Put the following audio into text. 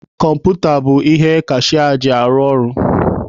Kọmputa bụ ihe kashịa ji arụ ọrụ.